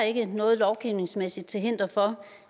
ikke er noget lovgivningsmæssigt til hinder for